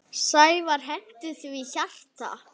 Sævar henti því hjarta.